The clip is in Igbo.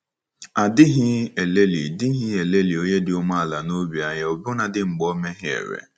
A dịghị elelị dịghị elelị onye dị umeala n’obi anya ọbụnadi mgbe o mehiere.